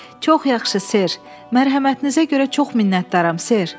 Çox yaxşı ser, mərhəmətinizə görə çox minnətdaram ser.